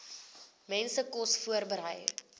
mense kos voorberei